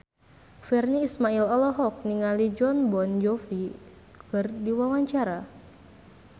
Virnie Ismail olohok ningali Jon Bon Jovi keur diwawancara